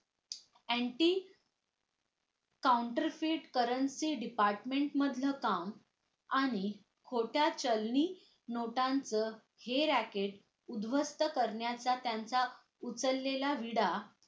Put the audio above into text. anti counter fit currency department मधलं काम आणि खोट्या चलनी नोटांचं हे racket उध्वस्थ करण्याचा त्यांचा उचललेला विडा